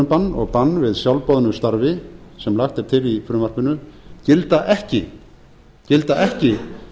atvinnubann og bann við sjálfboðnu starfi sem lagt er til í frumvarpinu gilda ekki